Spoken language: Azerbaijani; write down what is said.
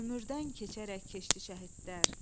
Ömürdən keçərək keçdi şəhidlər.